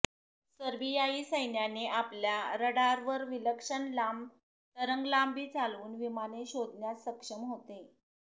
सर्बियाई सैन्याने आपल्या रडारवर विलक्षण लांब तरंगलांबी चालवून विमाने शोधण्यास सक्षम होते